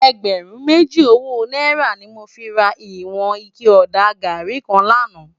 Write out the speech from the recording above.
Ègbèrún méjí ówó nàírá ni mó fi rá iwòn iké òdá gàrí kán làná